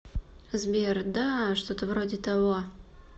сбер да что то вроде того